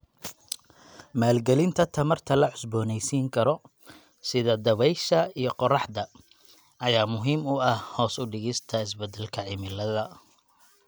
Maalgelinta tamarta la cusboonaysiin karo, sida dabaysha iyo qorraxda, ayaa muhiim u ah hoos u dhigista isbeddelka cimilada